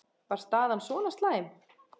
Var staðan svona slæm?